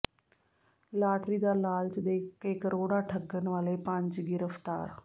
lottery ਦਾ ਲਾਲਚ ਦੇ ਕੇ ਕਰੋੜਾਂ ਠੱਗਣ ਵਾਲੇ ਪੰਜ ਗਿ੍ਰਫ਼ਤਾਰ